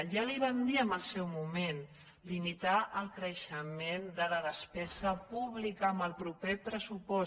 ja li vam dir en el seu moment limitar el creixement de la despesa pú·blica en el proper pressupost